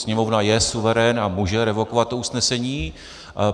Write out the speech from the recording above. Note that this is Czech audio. Sněmovna je suverén a může revokovat to usnesení.